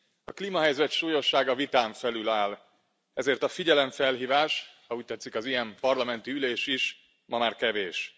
A klímahelyzet súlyossága vitán felül áll, ezért a figyelemfelhívás, ha úgy tetszik, az ilyen parlamenti ülésen is, ma már kevés.